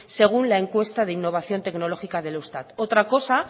según la encuesta de innovación tecnológica del eustat otra cosa